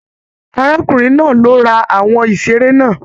Arákùnrin náà ló rà àwọn iṣere náà.